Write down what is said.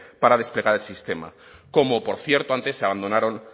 para desplegar el sistema como por cierto antes se abandonaron